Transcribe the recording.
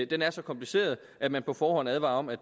den er så kompliceret at man på forhånd advarer om at